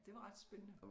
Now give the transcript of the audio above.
Det var ret spændende